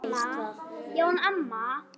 Já en amma.